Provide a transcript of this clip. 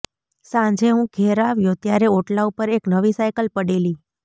સાંજે હું ઘેર આવ્યો ત્યારે ઓટલા ઉપર એક નવી સાઇકલ પડેલી